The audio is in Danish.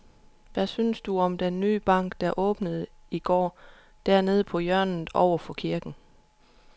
Hvad synes du om den nye bank, der åbnede i går dernede på hjørnet over for kirken?